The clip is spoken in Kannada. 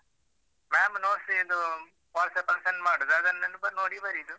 Ma'am notes ಇದು WhatsApp ಅಲ್ಲಿ send ಮಾಡುದು, ಅದನ್ನೆ ನೋಡಿ ಬರೆಯುದು.